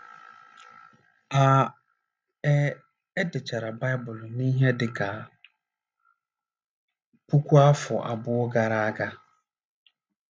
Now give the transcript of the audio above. A E dechara Baịbụl n’ihe dị ka puku afọ abụọ gara aga.